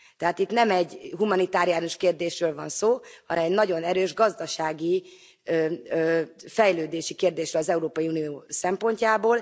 Tehát itt nem egy humanitáriánus kérdésről van szó, hanem egy nagyon erős gazdasági, fejlődési kérdésről az Európai Unió szempontjából.